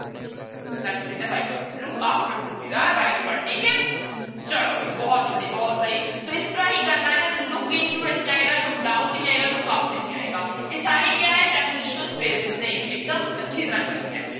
That would be the right word, look after would be the right word ਠੀਕ ਹੈ ਚਲੋ ਵੀ ਬਹੁਤ ਸਹੀ ਬਹੁਤ ਸਹੀ ਸੋ ਇਸ ਤਰ੍ਹਾਂ ਹੀ ਕਰਨਾ ਹੈ ਤਾਂ look into ਨਹੀਂ ਆਏਗਾ look down ਨਹੀਂ ਆਏਗਾ look up ਨਹੀਂ ਆਏਗਾ, ਇਹ ਸਾਰੇ ਕਿਆ ਹੈ prepositional phrases ਨੇ ਇੱਕਦਮ ਅੱਛੀ ਤਰ੍ਹਾਂ ਕਰਨੀਆਂ।